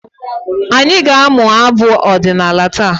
Anyị aga-amụ abụ ọdịnala taa?